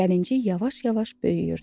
Gəlinci yavaş-yavaş böyüyürdü.